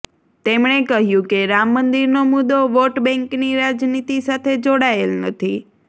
તેમણે કહ્યું કે રામ મંદિરનો મુદ્દો વોટ બેંકની રાજનીતિ સાથે જોડાયેલ નથી